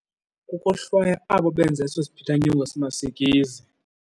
Kukohlwaya abo benza eso siphithanyongo simasikizi.